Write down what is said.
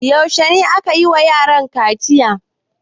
Yaushe ne aka yi wa yaran kaciya?